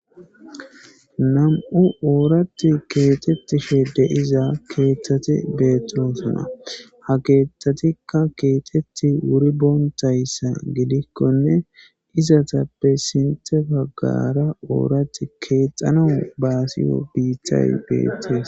nam7u ooratti keetetti shedde iza keeththate beetunosana ha keetthatikka keetetti wuri boontayssa gidikkonne izatappe sintefagaara ooratti keexana baasiyo biittay beetees